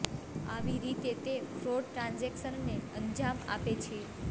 આવી રીતે તે ફ્રોડ ટ્રાન્ઝેકશનને અંજામ આપે છે